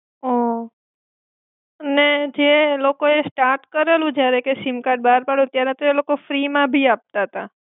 હમ ને જે લોકોએ સ્ટાર્ટ કરેલું જયારેકે સિમ કાર્ડ બાર પાડ્યું ત્યારે તો એ લોક ફ્રીમાં ભી આપતા તા.